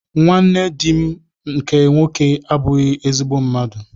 Nwanne di m nke nwoke abụghị ezigbo mmadụ.